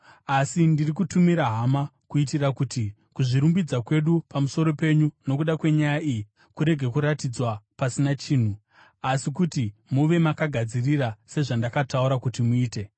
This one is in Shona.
Asi ndiri kutumira hama kuitira kuti kuzvirumbidza kwedu pamusoro penyu nokuda kwenyaya iyi kurege kuratidzwa pasina chinhu, asi kuti muve makagadzirira sezvandakataura kuti muite.